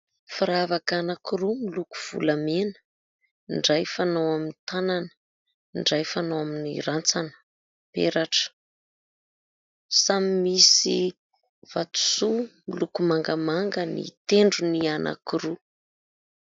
Firavaka anankiroa miloko volamena, ny iray fanao amin'ny tanana, ny iray fanao amin'ny rantsana, peratra, samy misy vatosoa miloko mangamanga ny tendron'ny anankiroa.